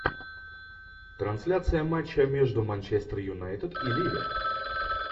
трансляция матча между манчестер юнайтед и ливер